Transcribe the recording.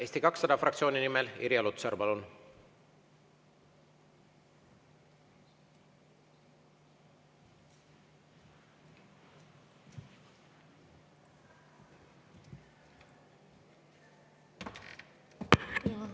Eesti 200 fraktsiooni nimel Irja Lutsar, palun!